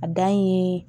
A dan ye